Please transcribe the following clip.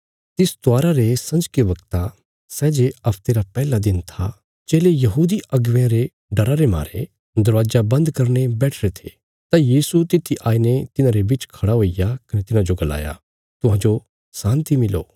तिस त्वारा रे संजके बगता सै जे हफ्ते रा पैहला दिन था चेले यहूदी अगुवेयां रे डरा रे मारे दरवाजा बन्द करीने बैठिरे थे तां यीशु तित्थी आईने तिन्हांरे बिच खड़ा हुईग्या कने तिन्हांजो गलाया तुहांजो शान्ति मिलो